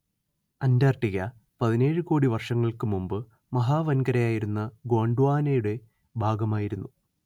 Antarctica പതിനേഴ് കോടി വർഷങ്ങൾക്ക് മുമ്പ് മഹാ‌‌വൻകരയായിരുന്ന ഗോണ്ട്വാനയുടെ ഭാഗമായിരുന്നു